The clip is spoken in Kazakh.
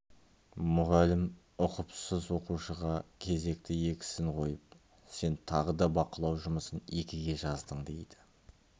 мұғалім ұқыпсыз оқушыға кезекті екісін қойып сен тағы да бақылау жұмысын екіге жаздың дейді